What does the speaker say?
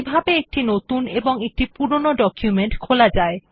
কিভাবে একটি নতুন এবং একটি পুরনো ডকুমেন্ট খোলা যায়